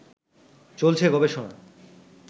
চলছে গবেষণা